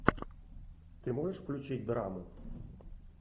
ты можешь включить драму